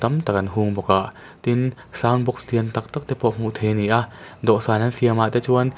tak an hung bawk a tin sound box lian tâk tâk te pawh hmuh theih ani a dawhsan an siam ah te chuan--